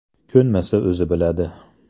Ko‘nmasa o‘zi biladi.